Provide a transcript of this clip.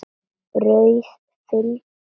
Brauð fyllt með ólívum